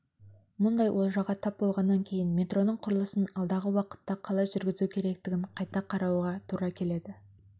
мұндай олжаға тап болғаннан кейін метроның құрылысын алдағы уақытта қалай жүргізу керектігін қайта қарауға тура келеді